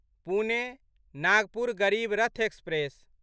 Pune Nagpur Garib Rath express